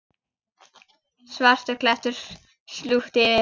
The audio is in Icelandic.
Svartur klettur slútti yfir.